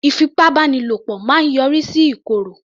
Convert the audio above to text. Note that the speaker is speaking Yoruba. Ìfipábánilo máa yọrí sí ìkòrò